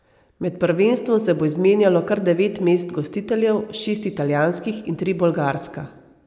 Med prvenstvom se bo izmenjalo kar devet mest gostiteljev, šest italijanskih in tri bolgarska.